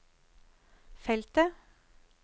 feltet